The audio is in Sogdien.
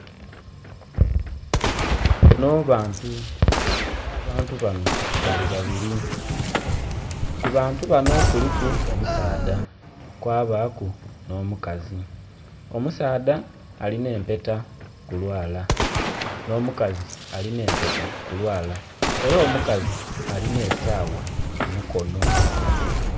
Bano bantu era abantu bano bali babiri ku bantu bano kuliku omusaadha kwabaku nho mukazi, omusaadha alina empeta ku lwala nho mukazi alina empeta ku lwala era omukazi Alina esawa ku mukono.